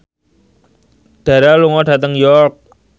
Dara lunga dhateng York